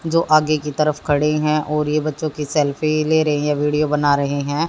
जो आगे की तरफ खड़ी है और ये बच्चों की सेल्फी ले रही है वीडियो बना रही हैं।